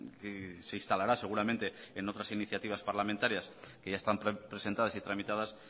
que se instalará seguramente en otras iniciativas parlamentarias que ya están presentadas y tramitadas